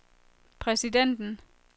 præsidenten